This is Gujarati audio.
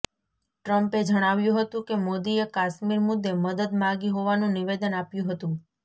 ટ્રમ્પે જણાવ્યુ હતું કે મોદીએ કાશ્મીર મુદ્દે મદદ માગી હોવાનું નિવેદન આપ્યું હતું